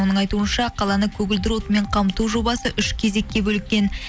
оның айтуынша қаланы көгілдір отынмен қамту жобасы үш кезекке бөліккен